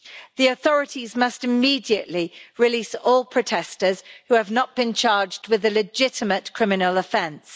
The authorities must immediately release all protesters who have not been charged with a legitimate criminal offence.